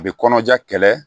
A bɛ kɔnɔja kɛlɛ